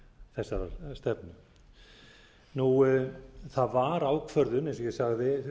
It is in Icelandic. skuli verða fórnardýr þessarar stefnu það var ákvörðun eins og ég sagði